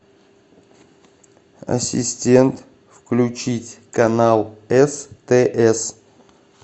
ассистент включить канал стс